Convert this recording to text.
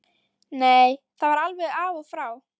Nei, það var alveg af og frá.